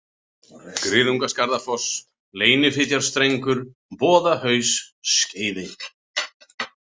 Griðungaskarðafoss, Leynifitjarstrengur, Boðahaus, Skeiði